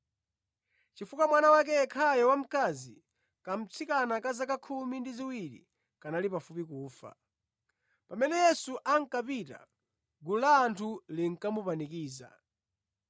chifukwa mwana wake yekhayo wamkazi, kamtsikana ka zaka khumi ndi ziwiri, kanali pafupi kufa. Pamene Yesu ankapita gulu la anthu linkamupanikiza.